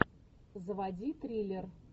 заводи триллер